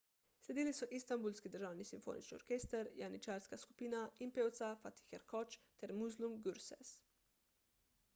sledili so istanbulski državni simfonični orkester janičarska skupina in pevca fatih erkoç ter müslüm gürses